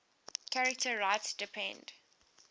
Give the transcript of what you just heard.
charter rights depend